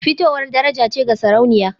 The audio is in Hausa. Fitowar daraja ce ga Sarauniya